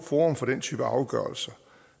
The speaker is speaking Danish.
forum for den type afgørelser